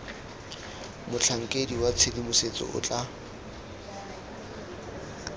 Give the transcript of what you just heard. motlhankedi wa tshedimosetso o tla